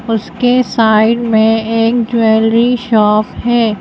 उसके साइड में एक ज्वेलरी शॉप है।